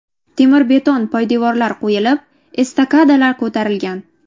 Temir-beton poydevorlar qo‘yilib, estakadalar ko‘tarilgan.